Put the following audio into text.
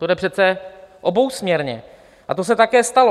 To jde přece obousměrně a to se také stalo.